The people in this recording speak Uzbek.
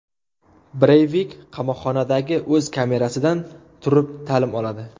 Breyvik qamoqxonadagi o‘z kamerasidan turib ta’lim oladi.